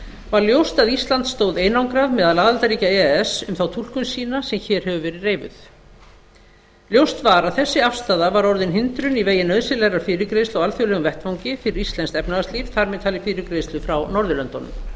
var ljóst að ísland stóð einangrað meðal aðildarríkja e e s um þá túlkun sína sem hér hefur verið reifuð ljóst var að þessi afstaða var orðin hindrun í vegi nauðsynlegrar fyrirgreiðslu á alþjóðlegum vettvangi fyrir íslenskt efnahagslíf þar með talið fyrirgreiðslu frá norðurlöndunum